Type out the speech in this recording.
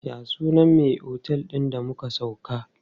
Ya sunan me otel din da muka sauka?